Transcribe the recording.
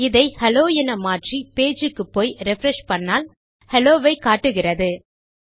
இதை ஹெல்லோ என மாற்றி பேஜ் க்குப்போய் ரிஃப்ரெஷ் செய்தால் ஹெல்லோ ஐ காட்டுகிறது